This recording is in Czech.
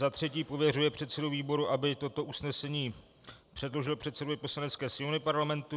Za třetí pověřuje předsedu výboru, aby toto usnesení předložil předsedovi Poslanecké sněmovny Parlamentu.